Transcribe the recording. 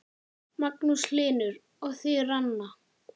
Magnús Hlynur: Og þið, Ranna?